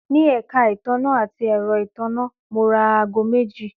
Ní èka ìtanná àti èro ìtanná, mo ra aago meji